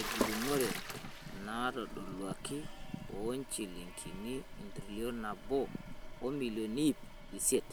egilunore natodoluaki o njilingini entrilion nabo o milioni iip isiet.